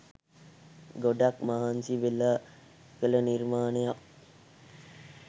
ගොඩක් මහන්සිවෙලා කළ නිර්මාණයක්